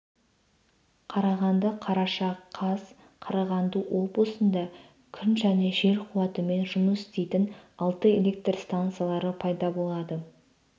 қарағанды қараша қаз қарағанды облысында күн және жел қуатымен жұмыс істейтін алты электр станциялары пайда болады